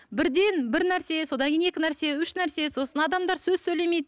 бірден бір нәрсе содан кейін екі нәрсе үш нәрсе сосын адамдар сөз сөйлемейді